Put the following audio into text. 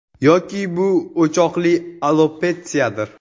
Yoki, bu o‘choqli alopetsiyadir?